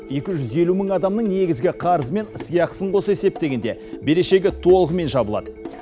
екі жүз елу мың адамның негізгі қарызы мен сыйақысын қоса есептегенде берешегі толығымен жабылады